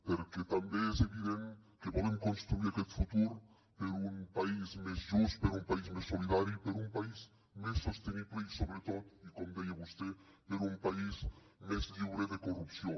perquè també és evident que volem construir aquest futur per un país més just per un país més solidari per un país més sostenible i sobretot i com deia vostè per un país més lliure de corrupció